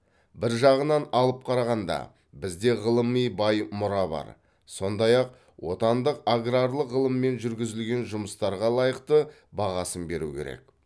бір жағынан алып қарағанда бізде ғылыми бай мұра бар сондай ақ отандық аграрлық ғылыммен жүргізілген жұмыстарға лайықты бағасын беру керек